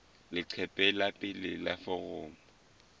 leqephe la pele la foromo